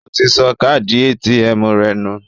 Ó ti sọ káàdì ATM rẹ̀ nù